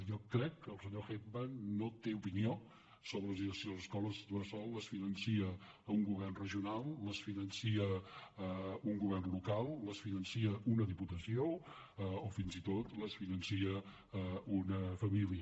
jo crec que el senyor heckman no té opinió sobre si les escoles bressol les finança un govern regional les finança un govern local les finan·ça una diputació o fins i tot les finança una família